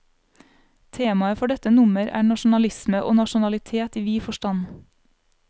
Temaet for dette nummer er nasjonalisme og nasjonalitet i vid forstand.